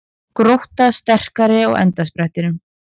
Grótta sterkari á endasprettinum